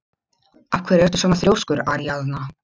Af hverju ertu svona þrjóskur, Aríaðna?